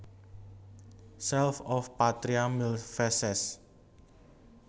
Salve Oh Patria mil veces